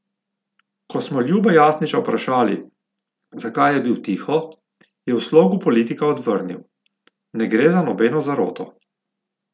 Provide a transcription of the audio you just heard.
Ko smo Ljuba Jasniča vprašali, zakaj je bil tiho, je v slogu politika odvrnil: "Ne gre za nobeno zaroto.